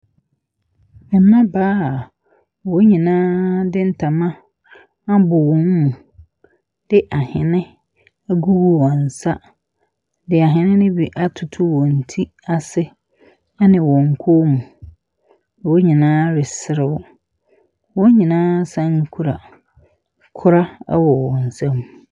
Mmabaa a wɔn nyinaa de ntama abɔ wɔn mu, de ahene agugu wɔn nsa, de ahene no bi atoto wɔn ti ase ɛne wɔn kɔnmu. Wɔn nyinaa reserew, wɔn nyinaa san kura kora ɛwɔ wɔn nsam.